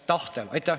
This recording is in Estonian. Aitäh!